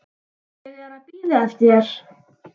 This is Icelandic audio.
Ég er að bíða eftir þér.